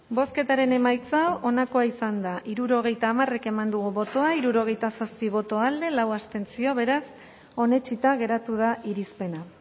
bozketaren emaitza onako izan da hirurogeita hamar eman dugu bozka hirurogeita zazpi boto alde lau abstentzio beraz onetsita geratu da irizpena